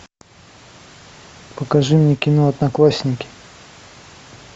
покажи мне кино одноклассники